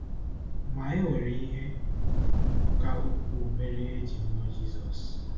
Ma, e nwere ihe ka ukwuu mere e ji mụọ Jizọs.